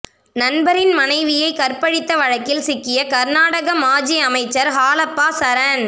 நண்பரின் மனைவியை கற்பழித்த வழக்கில் சிக்கிய கர்நாக மாஜி அமைச்சர் ஹாலப்பா சரண்